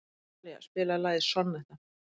Talía, spilaðu lagið „Sonnetta“.